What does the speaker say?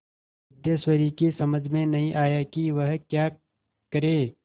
सिद्धेश्वरी की समझ में नहीं आया कि वह क्या करे